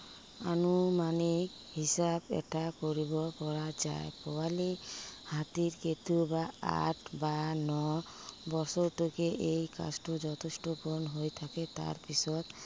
আনুমানিক হিচাপ এটা কৰিব পৰা যায়। পোৱালী হাতী কেতিয়াবা আঠ বা ন বছৰটোকে এই কামটো যথেষ্ট পূৰণ হৈ থাকে। তাৰপিছত